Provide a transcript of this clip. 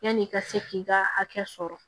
Yanni i ka se k'i ka hakɛ sɔrɔ